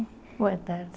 Boa tarde.